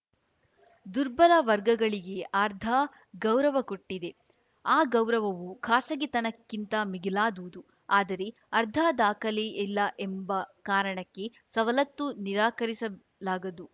ದುರ್ಬಲ ವರ್ಗಗಳಿಗೆ ಆರ್ಧಾ ಗೌರವ ಕೊಟ್ಟಿದೆ ಆ ಗೌರವವು ಖಾಸಗಿತನಕ್ಕಿಂತ ಮಿಗಿಲಾದುದು ಆದರೆ ಆರ್ಧಾ ದಾಖಲೆ ಇಲ್ಲ ಎಂಬ ಕಾರಣಕ್ಕೆ ಸವಲತ್ತು ನಿರಾಕರಿಸಲಾಗದು